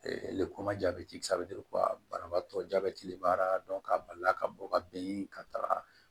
ko ma jabɛti banabaatɔ jabɛti de b'a la k'a balila ka bɔ ka bɛn ka taga